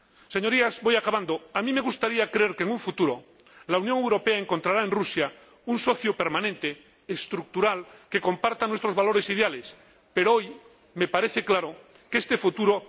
Señorías, a mí me gustaría creer que en un futuro la Unión Europea encontrará en Rusia un socio permanente, estructural, que comparta nuestros valores ideales, pero hoy me parece claro que este futuro no está tan próximo.